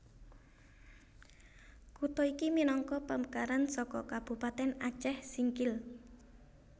Kutha iki minangka pamekaran saka Kabupatèn Acèh Singkil